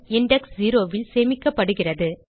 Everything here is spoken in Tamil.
இண்டெக்ஸ் 0 ல் சேமிக்கப்படுகிறது